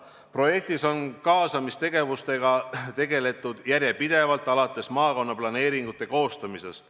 Projekti raames on kaasamistegevustega tegeletud järjepidevalt, alates maakonnaplaneeringute koostamisest.